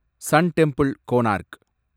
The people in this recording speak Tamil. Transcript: Sun temple, Konark